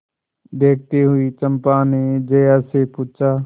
देखती हुई चंपा ने जया से पूछा